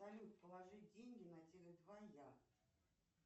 салют положи деньги на теле два я